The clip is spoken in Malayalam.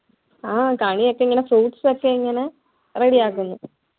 ആഹ് കണിയൊക്കെ ഇങ്ങനെ fruits ഒക്കെ ഇങ്ങനെ ready ആക്കുന്നു